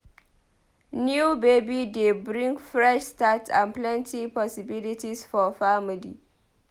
New baby dey bring fresh start and plenty possibilities for family.